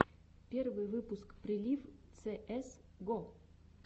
первый выпуск прилив цеэс го